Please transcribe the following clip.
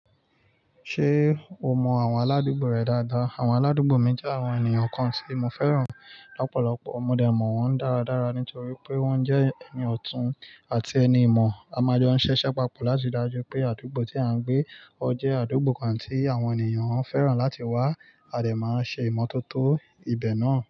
Ṣé o mọ àwọn aládùúgbò rẹ dáadáa? Àwọn aládùúgbò mi jẹ́ àwọn ènìyàn kan tí mo fẹ́ràn lọ́pọ̀lọpọ̀. Mo lè mọ̀ wọ́n dáradára nítorí pé wọ́n jẹ́ ẹni ọ̀tún àti ẹni ìmọ̀. A máa jọ ń ṣẹ́ṣẹ́ papọ̀ láti dájú pé àdúgbò tí à ń gbé ọ jẹ́ àdúgbò kan tí àwọn ènìyàn ó fẹ́ràn láti wá. A lè máa ń ṣe ìmọ́tótó ibẹ̀ náà.